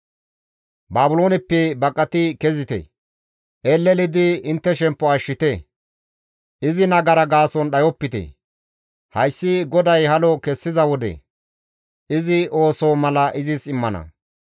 «Baabilooneppe baqati kezite! Elelidi intte shemppo ashshite; izi nagara gaason dhayopite; hayssi GODAY halo kessiza wode izi ooso mala izis immana.